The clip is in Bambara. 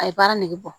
A ye baara nege bɔ